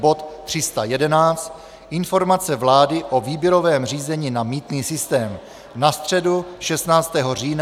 bod 311 - Informace vlády o výběrovém řízení na mýtný systém na středu 16. října od 18 hodin;